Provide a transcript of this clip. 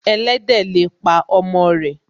Ẹlẹ́dẹ̀ le pa ọmọ rẹ̀